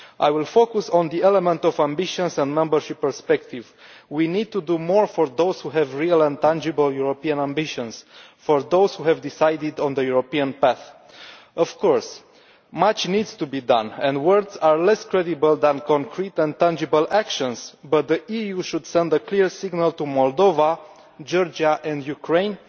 I will focus on the element of ambitions and membership perspective we need to do more for those who have real and tangible European ambitions, for those who have decided on the European path. Of course, much needs to be done, and words are less credible than concrete and tangible actions, but the EU should send a clear signal to Moldova, Georgia and Ukraine